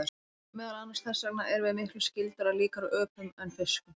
Meðal annars þess vegna erum við miklu skyldari og líkari öpum en fiskum.